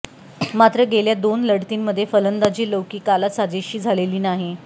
मात्र गेल्या दोन लढतींमध्ये फलंदाजी लौकिकाला साजेशी झालेली नाही